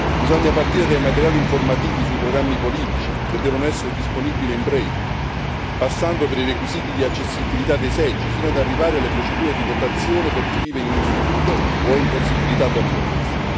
Bisogna partire dai materiali informativi sui programmi politici, che devono essere disponibili in braille, passando per i requisiti di accessibilità dei seggi, fino ad arrivare alle procedure di votazione per chi vive in un istituto o è impossibilitato a muoversi.